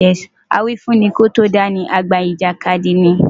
Awífúnni kó tó dá ni, àgbà ìjàkadì ni.